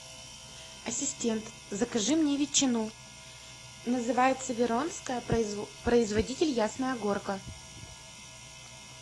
ассистент закажи мне ветчину называется веронская производитель ясная горка